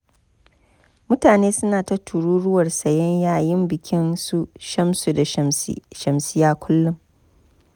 Mutane suna ta tururuwar sayen yayin bikin su Shamsu da Shamsiyya kullum.